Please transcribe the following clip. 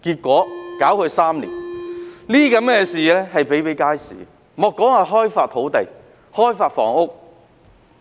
這些情況比比皆是，莫說開發土地、開發房屋。